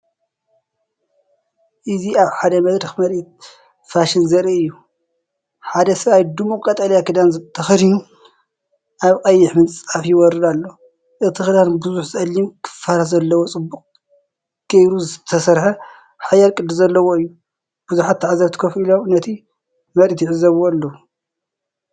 እዚ ኣብ ሓደ መድረኽ ምርኢት ፋሽን ዘርኢ እዩ። ሓደ ሰብኣይ ድሙቕ ቀጠልያ ክዳን ተኸዲኑ ኣብ ቀይሕ ምንጻፍ ይወርድ ኣሎ። እቲ ክዳን ብዙሕ ጸሊም ክፋላት ዘለዎ፡ጽቡቕ ጌሩ ዝተሰርሐ፡ሓያል ቅዲ ዘለዎ እዩ። ብዙሓት ተዓዘብቲ ኮፍ ኢሎም ነቲ ምርኢት ይዕዘብዎ ኣለዉ።